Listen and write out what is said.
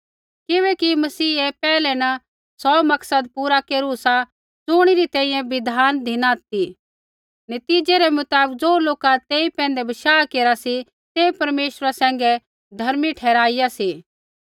किबैकि मसीहै पैहलै न सौ मकसद पूरा केरू सा ज़ुणी री तैंईंयैं बिधान धिना ती नतीज़ै रै मुताबक ज़ो लोका तेई पैंधै बशाह केरा सी तै परमेश्वरा सैंघै धर्मी ठहराईया सी